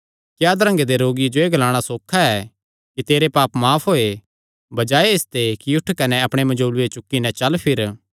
क्या अधरंगे दे रोगिये जो एह़ ग्लाणा सौखा ऐ कि तेरे पाप माफ होये बजाये इसते कि उठ कने अपणे मंजोल़ूये चुक्की नैं चल फिर